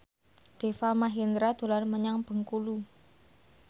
Deva Mahendra dolan menyang Bengkulu